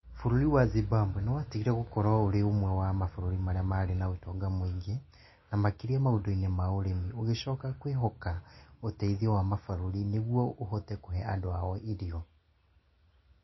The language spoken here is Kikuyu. Bũrũri wa Zimbabwe nĩ watigire gũkorũo ũrĩ ũmwe wa mabũrũri marĩa marĩ na ũtonga mũingĩ, na makĩria maũndũ-inĩ ma ũrĩmi, ũgĩcoka ũgĩcoka kwĩhoka ũteithio wa mabũrũri macio nĩguo ũhe andũ ao irio